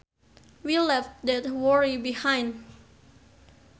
We left that worry behind